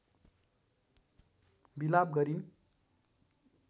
विलाप गरिन्